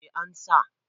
eh an sa